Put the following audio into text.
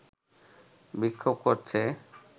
বিক্ষোভ করছে